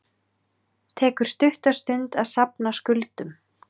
Tekur stutta stund að safna skuldum